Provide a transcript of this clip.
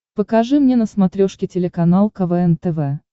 покажи мне на смотрешке телеканал квн тв